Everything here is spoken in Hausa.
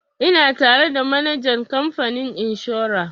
Ina tare da manajan kamfanin inshora